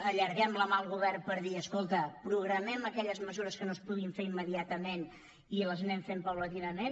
allarguem la mà al govern per dir escolta programem aquelles mesures que no es puguin fer immediatament i les anem fent progressivament